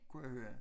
Kunne jeg høre